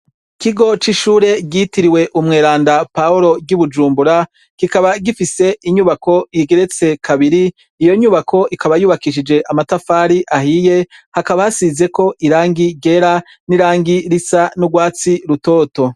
Ikigo c ishure ryitiriw' Umweranda Paul ry' i bujumbura, kikaba gifis' inyubak'igeretse kabiri, iyo nyubak' ikaba yubakishij' amatafar' ahiye hakaba hasiz' irangi ryera n' irangi risa n'ugwatsi rutoto.